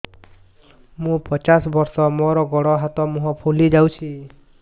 ମୁ ପଚାଶ ବର୍ଷ ମୋର ଗୋଡ ହାତ ମୁହଁ ଫୁଲି ଯାଉଛି